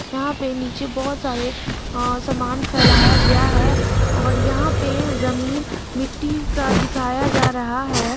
यहां पर नीचे बहुत सारे अ सामान फैलाया गया है और यहां पर जमीन मिट्टी का दिखाया जा रहा है।